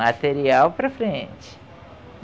Material para frente.